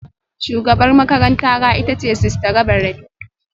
Shugabar makarantara ita ce Sister Reverend